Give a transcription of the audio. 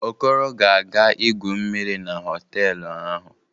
Okoro ga-aga igwu mmiri na họtelụ ahụ.